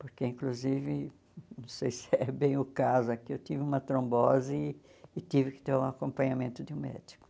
Porque, inclusive, não sei se é bem o caso aqui, eu tive uma trombose e tive que ter o acompanhamento de um médico.